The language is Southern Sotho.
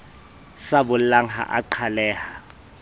sa bollang ha a qhaleha